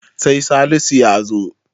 sai Salisu ya zo